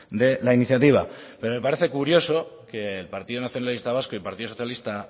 de la iniciativa pero me parece curioso que el partido nacionalista vasco y partido socialista